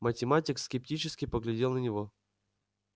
математик скептически поглядел на него